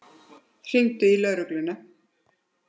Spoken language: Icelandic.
Hringdirðu í lögregluna?